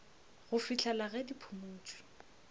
go fihlela ge di phumotšwe